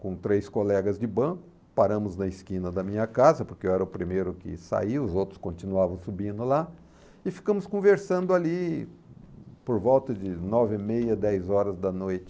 com três colegas de banco, paramos na esquina da minha casa, porque eu era o primeiro que saiu, os outros continuavam subindo lá, e ficamos conversando ali por volta de nove, meia, dez horas da noite.